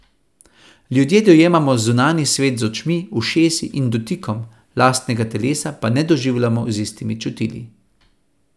Ljudje dojemamo zunanji svet z očmi, ušesi in dotikom, lastnega telesa pa ne doživljamo z istimi čutili.